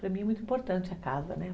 Para mim é muito importante a casa, né?